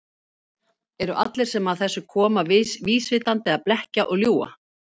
Eru allir sem að þessu koma vísvitandi að blekkja og ljúga?